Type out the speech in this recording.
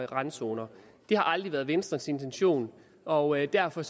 randzoner det har aldrig været venstres intention og derfor